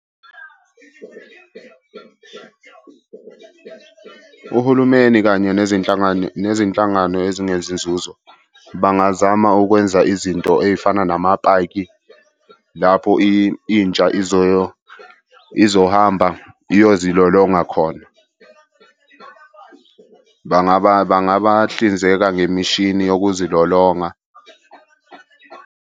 Uhulumeni, kanye nezinhlangano nezinhlangano ezingenzi nzuzo bangazama ukwenza izinto ey'fana namapaki lapho intsha izohamba iyozilolonga khona. Bangabahlinzeka ngemishini yokuzilolonga.